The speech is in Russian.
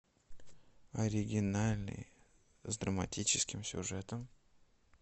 оригинальный с драматическим сюжетом